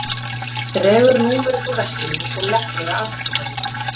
Dregur númer upp úr veskinu og leggur á afgreiðsluborðið.